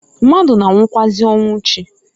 Mmadu na-anwụkwaazi ọnwụ chi.